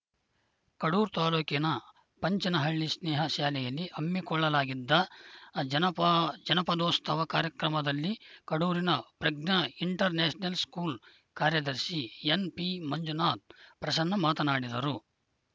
ಕಡೂರು ತಾಲೂಕಿನ ಪಂಚನಹಳ್ಳಿ ಸ್ನೇಹ ಶಾಲೆಯಲ್ಲಿ ಹಮ್ಮಿಕೊಳ್ಳಲಾಗಿದ್ದ ಜನಪ ಜನಪದೋತ್ಸವ ಕಾರ್ಯಕ್ರಮದಲ್ಲಿ ಕಡೂರಿನ ಪ್ರಜ್ಞಾ ಇಂಟರ್‌ ನ್ಯಾಷನಲ್‌ ಸ್ಕೂಲ್‌ ಕಾರ್ಯದರ್ಶಿ ಎನ್‌ಪಿ ಮಂಜುನಾಥ ಪ್ರಸನ್ನ ಮಾತನಾಡಿದರು